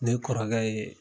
Ne kɔrɔkɛ ye